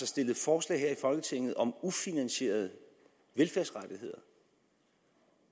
stillet forslag her i folketinget om ufinansierede velfærdsrettigheder